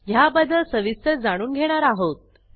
ह्याबद्दल सविस्तर जाणून घेणार आहोत